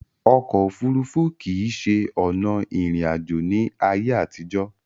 Ọkò òfurufú kìí ṣe ọ̀nà ìrìn àjò ní ayé àtìjọ̀.